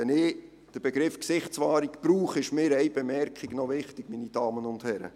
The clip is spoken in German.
– Wenn ich den Begriff «Gesichtswahrung» verwende, ist mir noch eine Bemerkung wichtig, meine Damen und Herren: